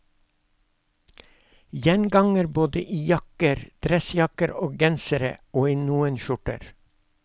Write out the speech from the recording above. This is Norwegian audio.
Gjenganger både i jakker, dressjakker, gensere og i noen skjorter.